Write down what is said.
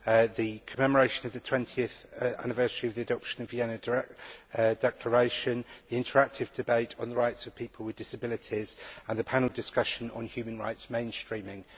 the commemoration of the 20 anniversary of the adoption of the Vienna Declaration, the interactive debate on the rights of people with disabilities and the panel discussion on human rights mainstreaming.